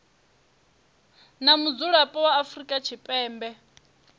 na mudzulapo wa afrika tshipembe